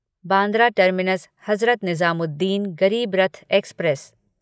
Bandra terminus Hazrat Nizamuddin Garib Rath express